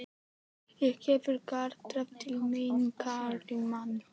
Ég hef galdrað til mín karlmenn.